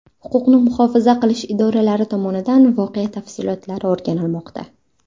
Huquqni muhofaza qilish idoralari tomonidan voqea tafsilotlari o‘rganilmoqda.